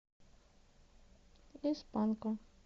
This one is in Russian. из панка